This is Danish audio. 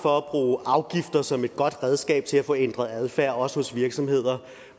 for at bruge afgifter som et godt redskab til at få ændret adfærd også hos virksomheder